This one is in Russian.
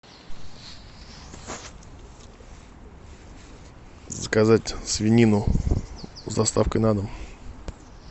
заказать свинину с доставкой на дом